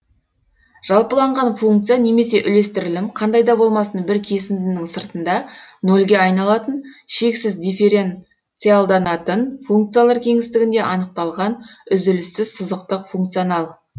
жалпыланған функция немесе үлестірілім қандай да болмасын бір кесіндінің сыртында нөлге айналатын шексіз дифференциалданатын функциялар кеңістігінде анықталған үзіліссіз сызықтық функционал